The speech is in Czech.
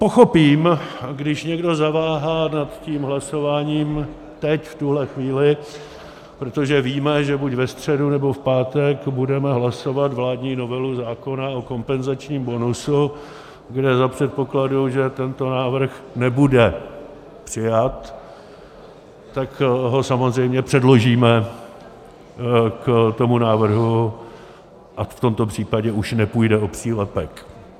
Pochopím, když někdo zaváhá nad tím hlasováním teď v tuhle chvíli, protože víme, že buď ve středu, nebo v pátek budeme hlasovat vládní novelu zákona o kompenzačním bonusu, kde za předpokladu, že tento návrh nebude přijat, tak ho samozřejmě předložíme k tomu návrhu, a v tomto případě už nepůjde o přílepek.